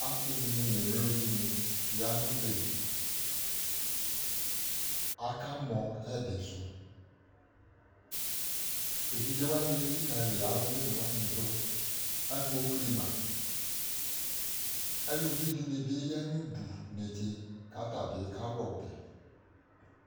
Asɩdɩnɩ n'emlodɩnɩ ya n'ɔbɛ li: aka mɔ ɛdɩsʋ Evidze wanɩ elikǝli alʋwɩnɩ wanɩ dʋ , akpokli ma ;eluvidɩnɩ bɩ ya n'udu netse k'ata bɩ kalʋ ɔbɛ